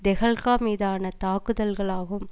தெஹெல்க்கா மீதான தாக்குதல்களாகும்